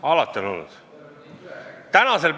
Alati on olnud!